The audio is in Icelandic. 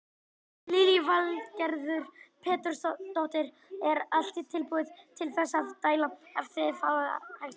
Lillý Valgerður Pétursdóttir: Er allt tilbúið til þess að dæla ef þið fáið hagstætt veður?